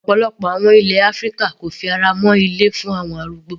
Ọ̀pọ̀lọpọ̀ àwọn ilé áfíríkà kò fi ara mọ́ ilé fún àwọn arúgbó.